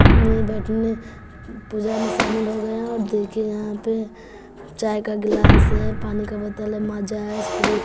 में बैठने पूजा में शामिल हो गया और देखे यहां पे चाय का गिलास है पानी का बोतल है माजा है स्प्री--